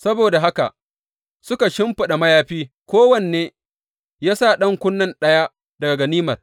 Saboda haka suka shimfiɗa mayafi, kowanne ya sa ɗan kunne ɗaya daga ganimar.